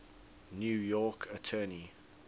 new york attorney